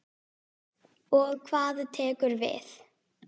Og hvað tekur við?